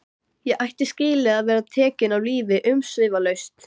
Ég ætti skilið að vera tekinn af lífi umsvifalaust.